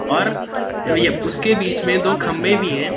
और उसके बीच में दो खंबे भी है।